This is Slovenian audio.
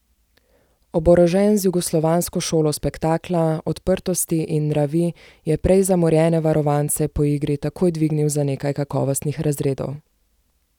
Oborožen z jugoslovansko šolo spektakla, odprtosti in nravi je prej zamorjene varovance po igri takoj dvignil za nekaj kakovostnih razredov.